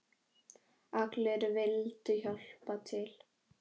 Allir vildu hjálpa til.